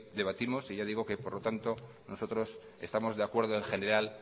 debatimos por lo tanto nosotros estamos de acuerdo en general